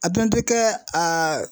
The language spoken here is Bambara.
A dun tɛ kɛ